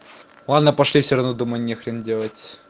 ладно пошли все равно дома нехрен делать